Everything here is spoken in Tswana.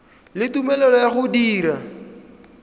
le tumelelo ya go dira